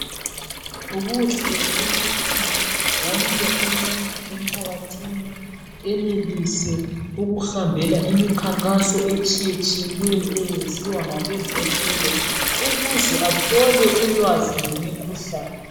Kuhle ukuthi wonke umuntu emphakathini enelise ukuhambela imikhankaso etshiye tshiyeneyo eyenziwa ngabezempilo ukuze athole ulwazi ngemikhuhlane .